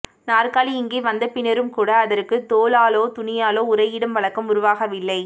நாற்காலி இங்கே வந்தபின்னரும்கூட அதற்கு தோலாலோ துணியாலோ உறையிடும் வழக்கம் உருவாகவில்லை